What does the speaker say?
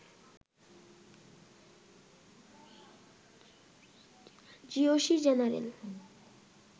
GOC general